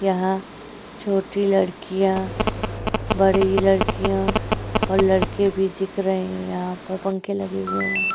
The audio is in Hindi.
यहां छोटी लड़कियां बड़ी लड़कियां और लड़के भी दिख रहे हैं। यहां पर पंखे लगे हुए हैं।